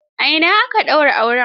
A ina aka daura auren?